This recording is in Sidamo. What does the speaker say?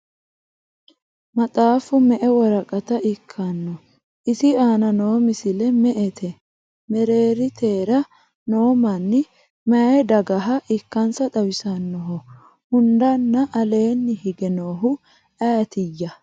Maxxaffu me'e woraqatta ikkanno? Isi aanna noo misile me'ette? Mereeritera noo manni mayi dagaha ikkansa xawissannoho? Hundanna aleenni hige noohu ayiitiya?